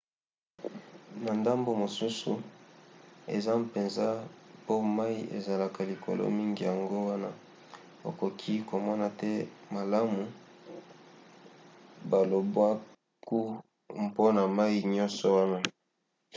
na ndambo mosusu eza mpenza po mai ezalaka likolo mingi yango wana okoki komona te malamu balobwaku—mpona mai nyonso wana!